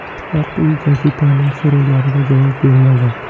Oq uy gazetaning so‘rovlariga javob bermagan.